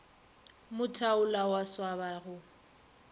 mo thaula wa swaba go